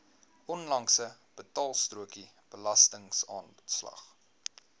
onlangse betaalstrokie belastingaanslag